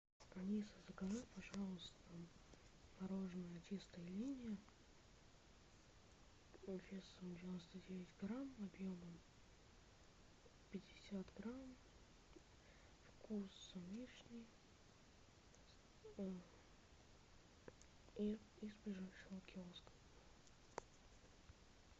алиса закажи пожалуйста мороженое чистая линия весом девяносто девять грамм объемом пятьдесят грамм вкус вишни из ближайшего киоска